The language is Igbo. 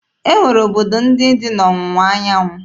E nwere obodo ndị dị n'Ọwụwa anyanwụ.